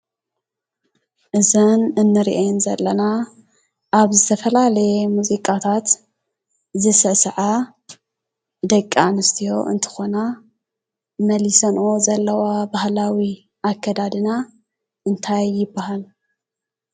እዘን እንሪአን ዘለና ኣብ ዝተፈላለየ ሙዚቃታት ዝስዕሳዓ ደቂ ኣንስትዮ እንትኾና መሊሰንኦ ዘለዋ ብህላዊ ኣከዳድና እንታይ ይባሃል?